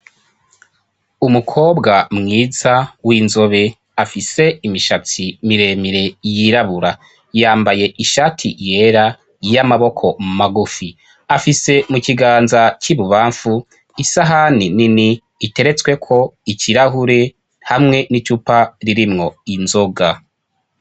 Umukobwa mwiza w'inzobe, afise imishatsi miremire yirabura. Yambaye ishati yera y'amaboko magufi. Afise mu kiganza c'ibubamfu, isahani nini iteretsweko ikirahure, hamwe n'icupa ririmwo inzoga.